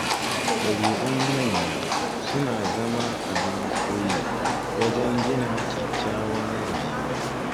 Ɗabi'un manya suna zama abin koyi wajen gina kyakkyawar rayuwa